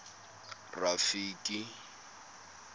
rafiki